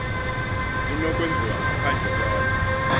inokwenziwa ngaphandle kwalo